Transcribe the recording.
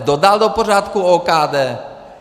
Kdo dal do pořádku OKD?